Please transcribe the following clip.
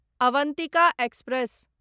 Avantika express